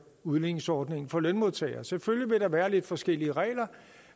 udligningsordningen for lønmodtagere selvfølgelig vil der være lidt forskellige regler